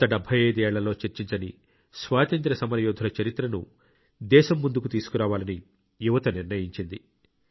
గత 75 ఏళ్లలో చర్చించని స్వాతంత్య్ర సమరయోధుల చరిత్రను దేశం ముందుకు తీసుకురావాలని యువత నిర్ణయించింది